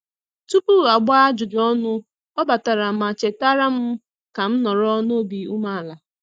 Tupu a gbaa ajụjụ ọnụ, ọ batara ma chetara m ka m nọrọ n'obi ume ala